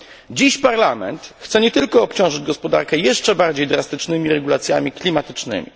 Dziś Parlament chce nie tylko obciążyć gospodarkę jeszcze bardziej drastycznymi regulacjami klimatycznymi.